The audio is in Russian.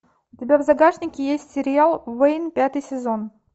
у тебя в загашнике есть сериал вейн пятый сезон